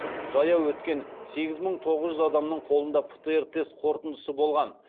жаяу өткен сегіз мың тоғыз жүз адамның қолында птр тест қорытындысы болған